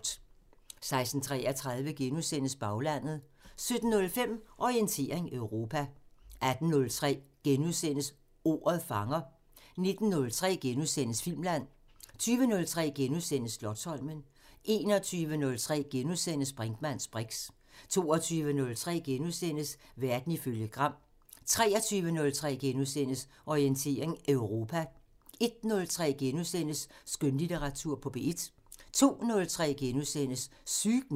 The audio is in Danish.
16:33: Baglandet * 17:05: Orientering Europa 18:03: Ordet fanger * 19:03: Filmland * 20:03: Slotsholmen * 21:03: Brinkmanns briks * 22:03: Verden ifølge Gram * 23:03: Orientering Europa * 01:03: Skønlitteratur på P1 * 02:03: Sygt nok *